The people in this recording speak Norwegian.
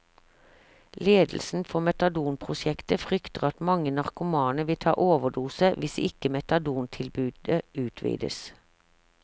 Ledelsen for metadonprosjektet frykter at mange narkomane vil ta overdose hvis ikke metadontilbudet utvides.